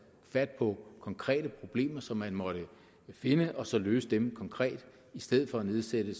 fat på konkrete problemer som man måtte finde og så løse dem konkret i stedet for at nedsætte